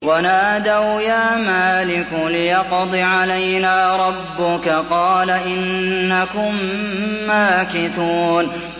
وَنَادَوْا يَا مَالِكُ لِيَقْضِ عَلَيْنَا رَبُّكَ ۖ قَالَ إِنَّكُم مَّاكِثُونَ